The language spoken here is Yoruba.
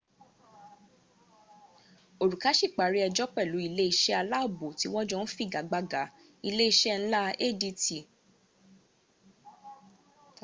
òrùká sì parí ęjọ́ pẹ̀lú ìlé iṣẹ́ aláàbò tí wọ́n jọ ń figagbága- ile iṣẹ́ nlá adt